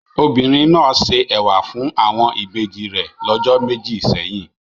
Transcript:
Obìnrin náà se ẹ̀wà fún àwọn ìbejì rẹ̀ lọ́jọ́ méjì sẹ́yìn.